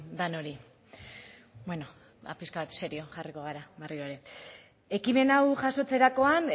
denoi beno piska bat serio jarriko gara berriro ere ekimen hau jasotzerakoan